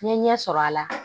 N ye ɲɛ sɔrɔ a la